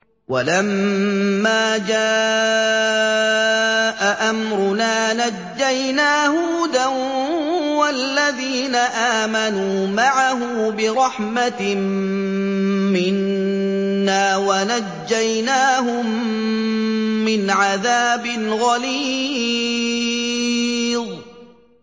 وَلَمَّا جَاءَ أَمْرُنَا نَجَّيْنَا هُودًا وَالَّذِينَ آمَنُوا مَعَهُ بِرَحْمَةٍ مِّنَّا وَنَجَّيْنَاهُم مِّنْ عَذَابٍ غَلِيظٍ